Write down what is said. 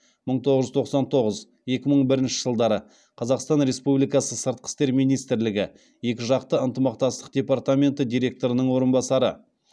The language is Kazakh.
мың тоғыз жүз тоқсан тоғыз екі мың бірінші жылдары қазақстан республикасы сыртқы істер министрлігі екі жақты ынтымақтастық департаменті директорының орынбасары